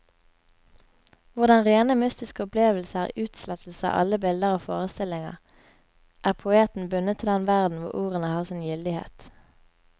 Hvor den rene mystiske opplevelse er utslettelse av alle bilder og forestillinger, er poeten bundet til den verden hvor ordene har sin gyldighet.